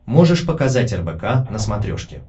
можешь показать рбк на смотрешке